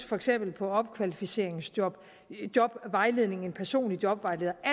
for eksempel opkvalificeringsjob jobvejledning en personlig jobvejleder og